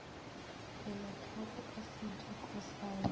kelotlhoko ka sediko sa ya